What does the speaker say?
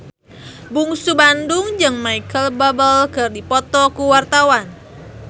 Bungsu Bandung jeung Micheal Bubble keur dipoto ku wartawan